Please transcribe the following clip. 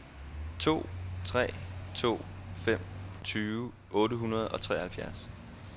to tre to fem tyve otte hundrede og treoghalvfjerds